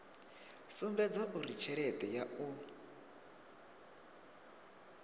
sumbedza uri tshelede ya u